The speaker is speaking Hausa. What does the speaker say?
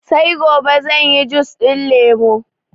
sai gobe zanyi jus ɗin lemo